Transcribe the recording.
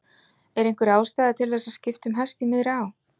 Er einhver ástæða til þess að skipta um hest í miðri á?